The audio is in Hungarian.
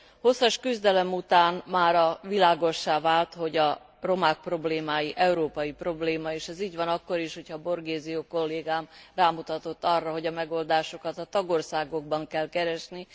Hosszas küzdelem után mára világossá vált, hogy a romák problémája európai probléma, és ez így van akkor is, hogyha Borghesio kollégám rámutatott arra, hogy a megoldásokat a tagországokban kell keresni.